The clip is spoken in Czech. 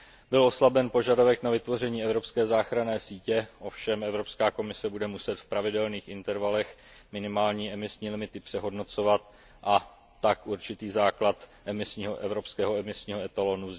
Byl oslaben požadavek na vytvoření evropské záchranné sítě, ovšem Evropská komise bude muset v pravidelných intervalech minimální emisní limity přehodnocovat, a tak vznikne určitý základ evropského emisního etalonu.